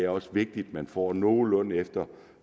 også vigtigt at man får nogenlunde efter